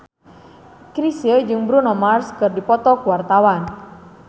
Chrisye jeung Bruno Mars keur dipoto ku wartawan